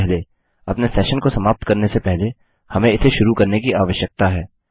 सबसे पहले अपने सेशन को समाप्त करने से पहले हमें इसे शुरू करने की आवश्यकता है